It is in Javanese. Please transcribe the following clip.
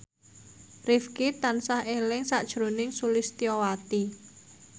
Rifqi tansah eling sakjroning Sulistyowati